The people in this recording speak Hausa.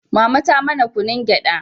mama ta mana kunun gyada